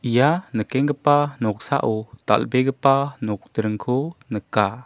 ia nikkenggipa noksao dal·begipa nokdringko nika.